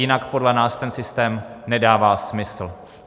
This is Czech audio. Jinak podle nás ten systém nedává smysl.